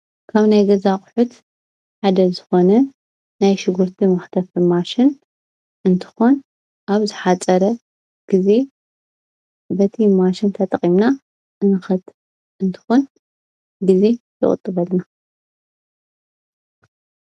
ካብ ናይ ገዛ ኣቑሑት ሓደ ዝኾነ ናይ ሽጉርቲ መኽተፊ ማሽን እንትኾን ኣብ ዝሓፀረ ጊዜ በቲ ማሽን ተጠቒምና ንኸትፍ እንትኮን ጊዜ ይቑጥበልና፡፡